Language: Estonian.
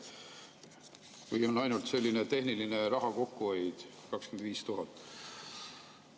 Või on ainult selline tehniline raha kokkuhoid 25 000 eurot?